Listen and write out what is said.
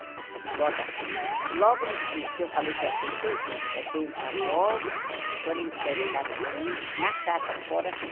Vó daqui, logo no que eu falei que eu aceitei, é bença vó, e quando ele escreve a carta para mim, na carta fora vem.